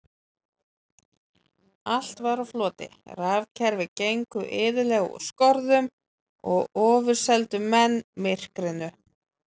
Allt var á floti, rafkerfi gengu iðulega úr skorðum og ofurseldu menn myrkrinu.